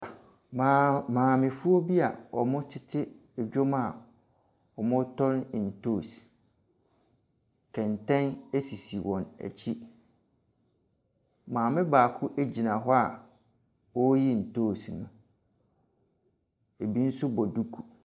Maamefoɔ bi a wɔtete dwam a wɔretɔn ntoosi, kɛntɛn sisi wɔn akyi. Madame baa gyina hɔ a ɔreyi ntoosi no. Ɛbi nso bɔ duku.